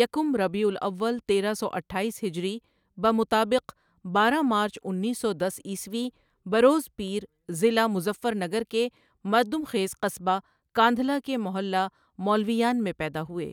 یکم ربیع الاول تیرہ سو اٹھائیس ہجری بمطابق بارہ مارچ انیس سو دس عیسوی بروز پیر ضلع مظفر نگر کے مردم خیز قصبہ کا ندہلہ کے محلہ مولویان میں پیدا ہوئے۔